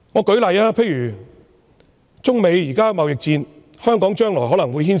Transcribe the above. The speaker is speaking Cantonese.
舉例而言，中美現正進行貿易戰，香港將來可能會被牽連。